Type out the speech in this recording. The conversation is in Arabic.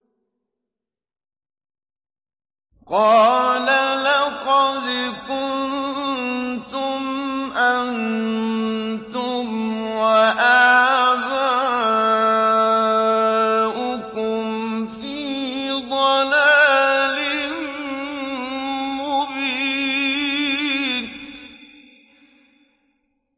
قَالَ لَقَدْ كُنتُمْ أَنتُمْ وَآبَاؤُكُمْ فِي ضَلَالٍ مُّبِينٍ